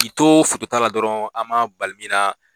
K'i to ta la dɔrɔn ,an ma bali min na